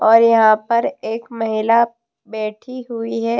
और यहाँ पर एक महिला बैठी हुई है।